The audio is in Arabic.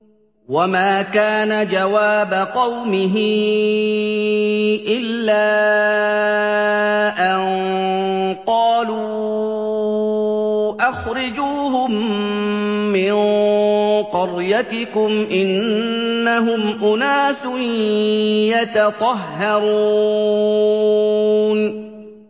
وَمَا كَانَ جَوَابَ قَوْمِهِ إِلَّا أَن قَالُوا أَخْرِجُوهُم مِّن قَرْيَتِكُمْ ۖ إِنَّهُمْ أُنَاسٌ يَتَطَهَّرُونَ